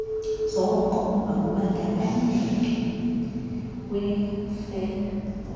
zoko emakubandakanywe kwirekhodi